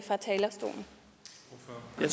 er